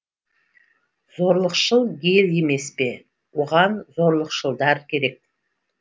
зорлықшыл ел емес пе оған зорлықшылдар керек